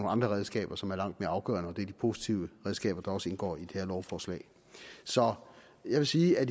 andre redskaber som er langt mere afgørende og det er de positive redskaber der også indgår i det her lovforslag så jeg vil sige at